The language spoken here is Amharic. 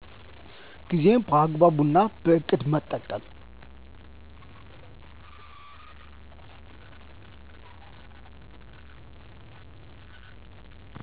ጊዜን በአግባቡና በእቅድ መጠቀም